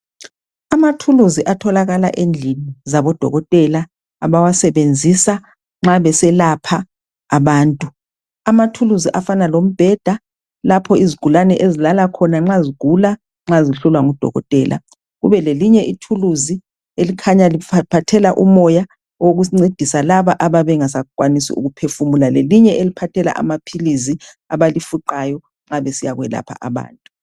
Amathuluzi atholakala endlini zabodokotela abawasebenzisa nxa beselapha abantu. Amathuluzi afana lombheda lapho izigulane ezilala khona nxa zigula nxa zihlolwa ngudokotela. Kube lelinye ithuluzi elikhanya liphathela umoya wokusincedisa laba ababengasakwanisi ukuphefumula, lelinye elisiphathela amaphilizi abalifuqayo nxa besiyakwelapha abantu.